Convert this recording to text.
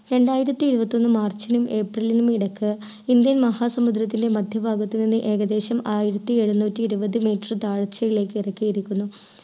രണ്ടായിരത്തി ഇരുപത്തി ഒന്ന് മാർച്ചിലും ഏപ്രിലിലും ഇടക്ക് ഇന്ത്യൻ മഹാ സമുദ്രത്തിലെ മധ്യ ഭാഗത്ത് നിന്ന് ഏകദേശം ആയിരത്തി എഴുന്നൂറ്റി ഇരുപത് meter താഴ്ചയിലേക്ക് ഇറക്കിയിരിക്കുന്നു